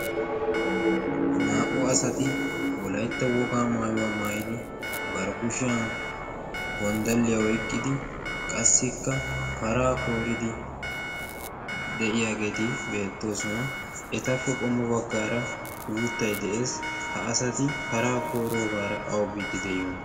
Naa"u asati wolaytta wogaa maayuwa maayi bari kushiyan gonddalliya oyqqidi qassikka paraa kooridi de"iyageeti beettoosona. Etappe qommo baggaara uuttayi de"es. Ha asati paraa kooroogaara awa biiddi de"iyonaa.